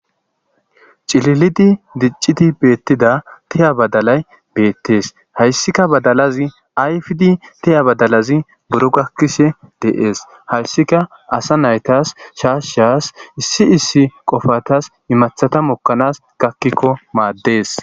Cililid dicidi betida tiya badalay bettes hayissikka badalazi ayfidi tiya badalazi buro gakishshe des hayissikka asa naytas shashas issi issi qofatas imaththata mokanas gakiko madees